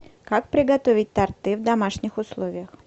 как приготовить торты в домашних условиях